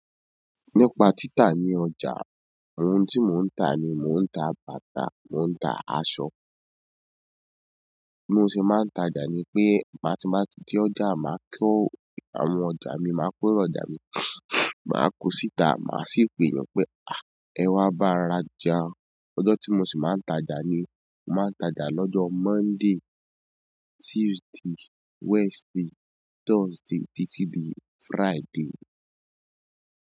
Nípa títà ní ọjà, àwọn ohun tí mò ń tà ni mò ń ta bàtà, mò ń ta aṣọ. Bí mo ṣe máa ń tajà ni pé máti n bá ti dé ọjà, màá ko àwọn ọjà mi, màá pèrò ọjà mi, màá kọ síta, màá sì pè yàn pé "à! Ẹ wá bá rajà". Ọjọ́ tí mo sì máa ń tajà ni, mò máa ń tajà lọ́jọ́ Monday, Tuesday, Wednesday, Thursday títí di Friday.